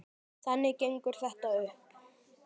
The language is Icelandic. Þannig gengur þetta upp.